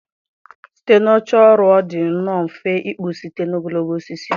Site na oche ọrụ ọ dị nnọọ mfe ịkpụ site na ogologo osisi